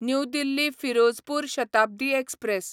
new Delhi Firozpur Shatabdi express